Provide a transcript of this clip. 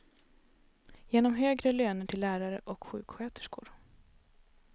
Genom högre löner till lärare och sjuksköterskor.